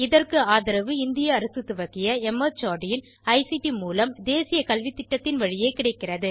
இதற்கு ஆதரவு இந்திய அரசு துவக்கிய மார்ட் இன் ஐசிடி மூலம் தேசிய கல்வித்திட்டத்தின் வழியே கிடைக்கிறது